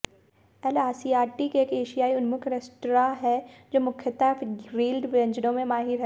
L आसियातीक एक एशियाई उन्मुख रेस्तरां है जो मुख्यतः ग्रील्ड व्यंजनों में माहिर है